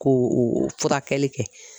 Ko furakɛli kɛ.